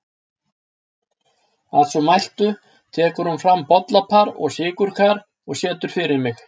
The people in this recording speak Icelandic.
Að svo mæltu tekur hún fram bollapar og sykurkar og setur fyrir mig.